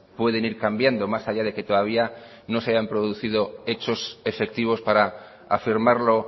pueden ir cambiando más allá de que todavía no se hayan producido hechos efectivos para afirmarlo